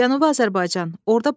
Cənubi Azərbaycan.